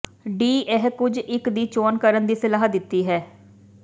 D ਇਹ ਕੁਝ ਇੱਕ ਦੀ ਚੋਣ ਕਰਨ ਦੀ ਸਲਾਹ ਦਿੱਤੀ ਹੈ